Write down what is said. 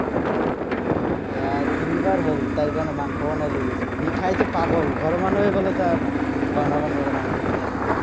এয়া তিনিবাৰ হ'ল, তাইৰ কাৰণে মাংস বনাই লৈ গৈছো, সি খাইতো পাগল। ঘৰৰ মানুহে বোলে তাৰ বনাব নোৱাৰে, মাংসটো, তেনেকুৱা।